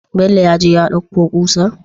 Bello yaje ya ɗauko kusar?